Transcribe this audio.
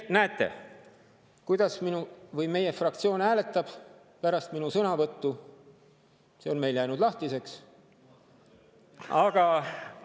See, kuidas meie fraktsioon pärast minu sõnavõttu hääletab, on meil jäänud lahtiseks, aga sellised olid need seisukohad.